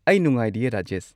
ꯑꯩ ꯅꯨꯡꯉꯥꯏꯔꯤꯌꯦ, ꯔꯥꯖꯦꯁ꯫